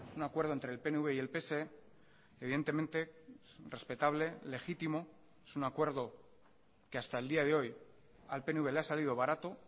un acuerdo entre el pnv y el pse evidentemente respetable legítimo es un acuerdo que hasta el día de hoy al pnv le ha salido barato